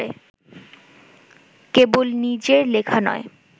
কেবল নিজের লেখা নয়